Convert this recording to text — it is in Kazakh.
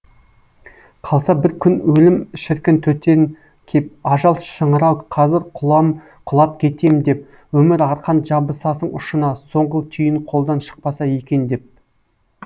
қалса бір күн өлім шіркін төтен кеп ажал шыңырау қазір құлап кетем деп өмір арқан жабысасың ұшына соңғы түйін қолдан шықпаса екен деп